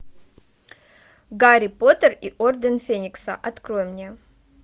гарри поттер и орден феникса открой мне